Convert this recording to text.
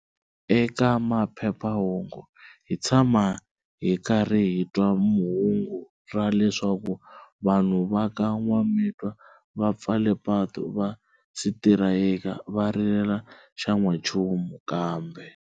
Eka maphephahungu hi tshama hi karhi hitwa hungu ra leswaku vanhu va ka Nwamitwa va pfale patu va sitirayika va rilela xa nwa nchumu kambe.